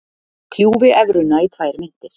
Kljúfi evruna í tvær myntir